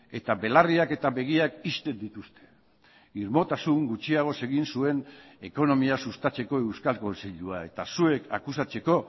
eta belarriak eta begiak ixten dituzte irmotasun gutxiagoz egin zuen ekonomia sustatzeko euskal kontseilua eta zuek akusatzeko